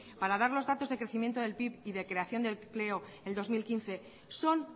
para dar los datos de crecimiento el pib y de creación de empleo el dos mil quince son